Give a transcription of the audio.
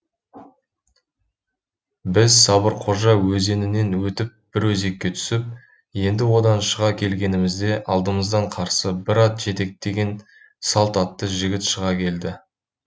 біз сабырқожа өзенінен өтіп бір өзекке түсіп енді одан шыға келгенімізде алдымыздан қарсы бір ат жетектеген салт атты жігіт шыға келді